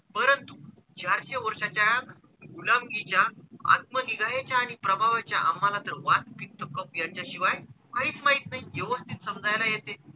चारशे वर्षाच्या गुलामकीच्या, आत्म निघायच्या आणि प्रभावाच्या आम्हाला तर वात, पित्त, कफ याच्याशिवाय काहीच माहिती नाही व्यवथित समजायला येते.